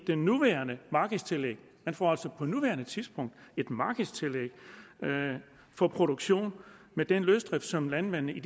det nuværende markedstillæg man får altså på nuværende tidspunkt et markedstillæg for produktion med den løsdrift som landmændene i